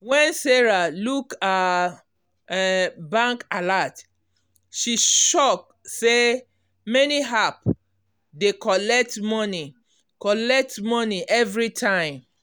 when sarah look her um bank alert she shock say many app dey collect money collect money every time.